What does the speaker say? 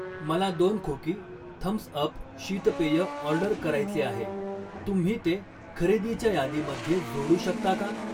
मला दोन खोकी थम्स अप शीतपेय ऑर्डर करायचे आहे, तुम्ही ते खरेदीच्या यादीमध्ये जोडू शकता का?